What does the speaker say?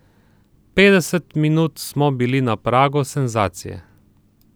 Petdeset minut smo bili na pragu senzacije.